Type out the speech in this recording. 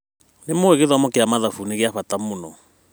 Nĩmũĩ atĩ gĩthomo kĩa mathabu nĩgĩa bata mũno.